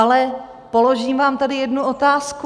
Ale položím vám tady jednu otázku.